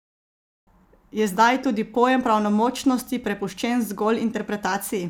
Je zdaj tudi pojem pravnomočnosti prepuščen zgolj interpretaciji?